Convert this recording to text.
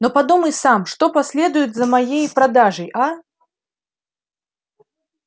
но подумай сам что последует за моей продажей а